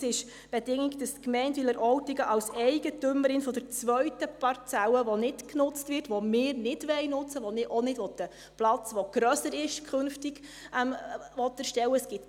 Es ist die Bedingung, dass die Gemeinde Wileroltigen als Eigentümerin der zweiten Parzelle, die nicht genutzt wird, die wir nicht nutzen wollen, auf der ich auch nicht künftig einen Platz erstellen will, der grösser wird …